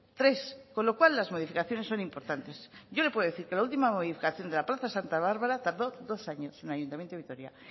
tres con lo cual las modificaciones son importantes yo le puedo decir que la última modificación de la plaza santa bárbara tardó dos años en el ayuntamiento de vitoria